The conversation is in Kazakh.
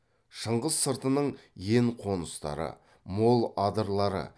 шыңғыс сыртының ен қоныстары мол адырлары